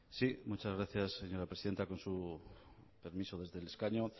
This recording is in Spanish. muchas gracias señora presidenta con su permiso desde el escaño